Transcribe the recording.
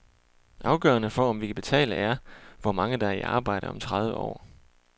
Afgørende for om vi kan betale er, hvor mange der er i arbejde om tredive år.